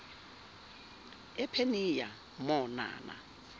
ephenia mo nana